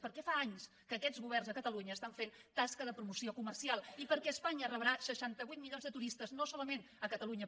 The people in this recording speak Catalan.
perquè fa anys que aquests governs a catalunya estan fent tasca de promoció comercial i perquè espanya rebrà seixanta vuit milions de turistes no solament a catalunya